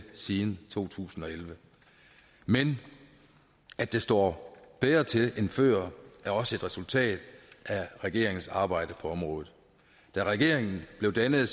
siden to tusind og elleve men at det står bedre til end før er også et resultat af regeringens arbejde på området da regeringen blev dannet